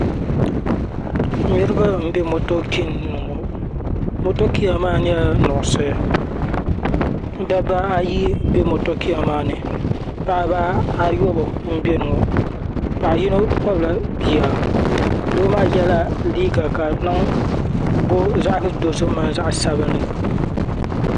Niriba n be motokin ni ŋɔ motokiya maa nyɛla nuɣuso dabba ayi mbe motokiya maa ni paɣaba ayobu m beni ŋɔ paɣa yino n kpabi la bia doo maa yɛla liiga ka di boogi zaɣa dozim mini zaɣa sabinli.